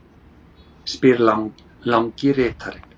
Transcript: spyr langi ritarinn.